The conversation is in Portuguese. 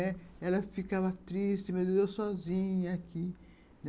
Ela ficava triste, mas eu sozinha aqui.